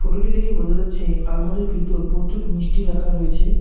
ফটোটি দেখে বোঝা যাচ্ছে আলমারির ভিতর প্রচুর মিষ্টি রাখা রয়েছে।